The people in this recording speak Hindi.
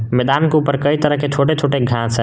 मैदान के ऊपर कई तरह के छोटे छोटे घास है।